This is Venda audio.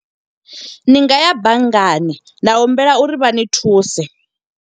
Ni ngaya banngani, na humbela uri vha ni thuse.